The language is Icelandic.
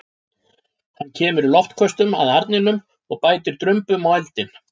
Hann kemur í loftköstum að arninum og bætir drumbum á eldinn.